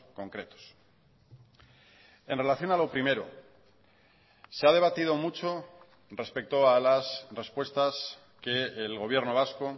concretos en relación a lo primero se ha debatido mucho respecto a las respuestas que el gobierno vasco